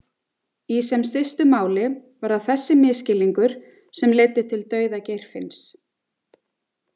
Í sem stystu máli var það þessi misskilningur sem leiddi til dauða Geirfinns.